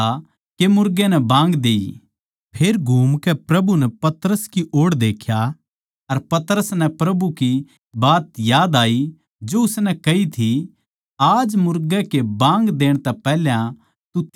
फेर घूमकै प्रभु नै पतरस की ओड़ देख्या अर पतरस नै प्रभु की बात याद आई जो उसनै कही थी आज मुर्गे कै बाँग देण तै पैहल्या तू तीन बर इन्कार करैगा